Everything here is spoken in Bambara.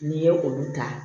N'i ye olu ta